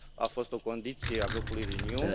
A fost o condiție a grupului Renew.